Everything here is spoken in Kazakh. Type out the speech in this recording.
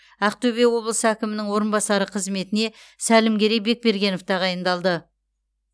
ақтөбе облысы әкімінің орынбасары қызметіне сәлімгерей бекбергенов тағайындалды